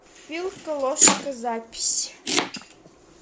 вилка ложка запись